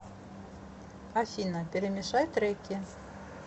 афина перемешай треки